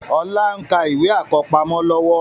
Ọlá ń ka ìwé àkọ́pamọ́ lọ́wọ́